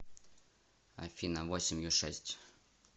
афина восемью шесть